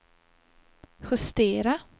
justera